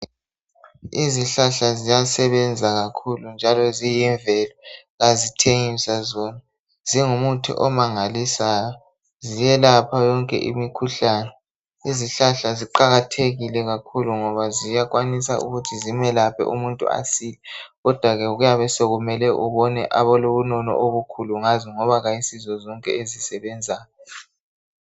Izihlahla ziyasebenza kakhulu njalo ziyimvelo kazithengiswa zona zingumuthi omangalisayo ziyelapha yonke imikhuhlane izihlahla ziqakathekile kakhulu ngoba ziyakwanisa ukuthi zimelaphe umuntu asile kodwake kuyabe sokumele ubone abalobunono obukhulu ngazo ngoba ayisizo zonke ezisebenzayo.